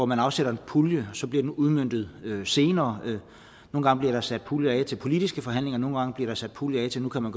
man afsætter en pulje så bliver udmøntet senere nogle gange bliver der sat puljer af til politiske forhandlinger nogle gange bliver der sat puljer af til at man